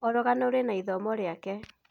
O rũgano rwĩna ithomo rĩake.